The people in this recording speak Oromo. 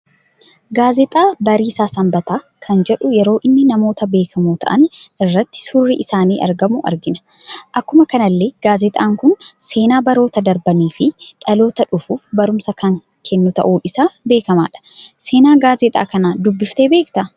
Gaazixaa bariisa sanbataa kan jedhuu yeroo inni namoota beekamo ta'aan irratti suurri isaani argamu, argina. Akkuma kanallee gaazixaan kun seenaa baroota darbanii fi dhaloota dhufuuf barumsa kan kennu ta'un isaa beekamadha. seena gaazixaa kana dubbiftee beekta?